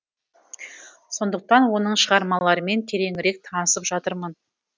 сондықтан оның шығармаларымен тереңірек танысып жатырмын